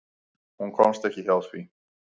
Hún komst ekki hjá því.